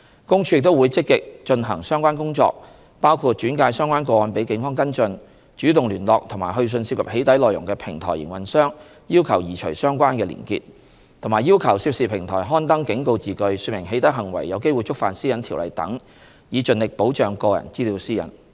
公署亦會積極進行相關工作，包括轉介相關個案予警方跟進、主動聯絡及去信涉及"起底"內容的平台營運商要求移除相關連結，以及要求涉事平台刊登警告字句說明"起底"行為有機會觸犯《私隱條例》等，以盡力保障個人資料私隱。